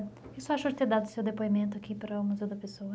O que o senhor achou de ter dado o seu depoimento aqui para o Museu da Pessoa?